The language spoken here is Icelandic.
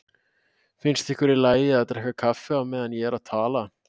Finnst ykkur í lagi að drekka kaffi á meðan ég er að tala?